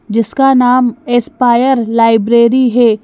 जिसका नाम aspire library है।